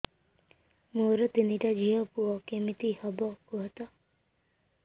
ମୋର ତିନିଟା ଝିଅ ପୁଅ କେମିତି ହବ କୁହତ